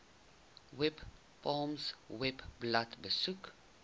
webpals webblad besoek